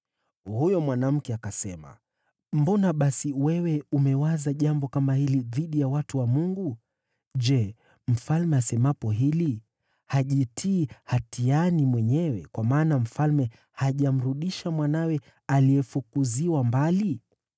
Huyo mwanamke akasema, “Mbona basi wewe umewaza jambo kama hili dhidi ya watu wa Mungu? Je, mfalme asemapo hili, hajitii hatiani mwenyewe, kwa maana mfalme hajamrudisha mwanawe aliyefukuziwa mbali?